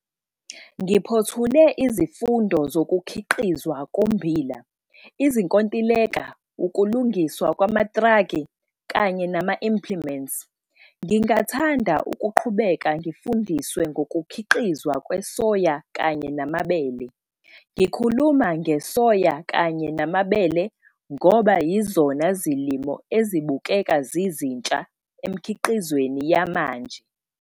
Ngiphothule izifundo zokuKhiqizwa koMmbila, Izinkontileka, Ukulungiswa kwamatraki kanye nama-implements. Ngingathanda ukuqhubeka ngifundiswe ngokukhiqizwa kwesoya kanye namabele. Ngikhuluma ngesoya kanye namabele ngoba yizona zilimo ezibukeka zizintsha emikhiqizweni yamanje.